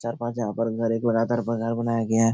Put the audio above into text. चार पांच यहाँ पर अंदर एक बनाया गया है।